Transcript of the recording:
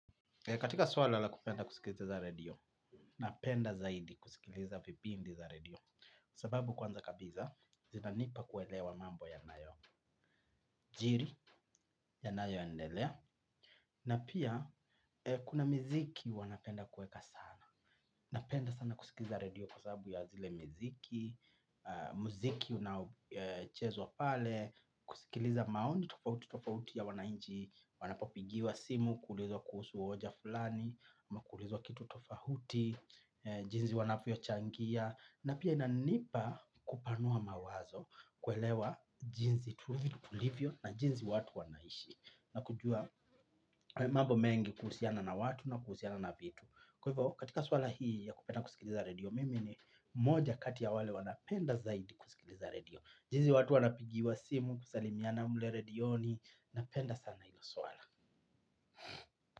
Katika swala la kupenda kusikiliza za redio, napenda zaidi kusikiliza vipindi za redio. Sababu kwanza kabisa, zinanipa kuelewa mambo yanayo jiri, yanayo endelea, na pia kuna miziki wanapenda kueka sana. Napenda sana kusikiliza redio kwa sababu ya zile miziki, muziki unaochezwa pale, kusikiliza maoni tofauti tofauti ya wanaimchi, wanapopigiwa simu kuulizwa kuhusu hoja fulani ama kuulizwa kitu tofauti jinzi wanavyo changia na pia inanipa kupanua mawazo kuelewa jinsi tulivyo na jinsi watu wanaishi na kujua mambo mengi kuhusiana na watu na kuhusiana na vitu kwa hivyo katika swala hii ya kupenda kusikiliza redio mimi ni moja kati ya wale wanapenda zaidi kusikiliza redio jinsi watu wanapigiwa simu kusalimiana mle redioni. Napenda sana hilo swala.